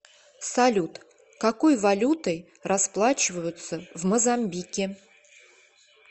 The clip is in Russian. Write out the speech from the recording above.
салют какой валютой расплачиваются в мозамбике